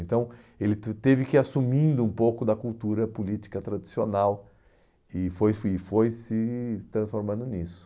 Então, ele te teve que ir assumindo um pouco da cultura política tradicional e foi se e foi se transformando nisso.